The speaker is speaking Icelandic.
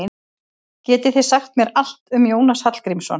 Getið þið sagt mér allt um Jónas Hallgrímsson?